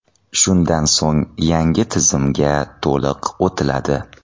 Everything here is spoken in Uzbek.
Shundan so‘ng yangi tizimga to‘liq o‘tiladi.